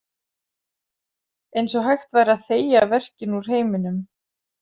Eins og hægt væri að þegja verkinn úr heiminum.